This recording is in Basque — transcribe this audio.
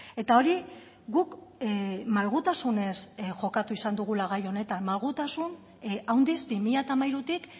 eta hori guk malgutasunez jokatu izan dugula gai honetan malgutasun handiz bi mila hamairutik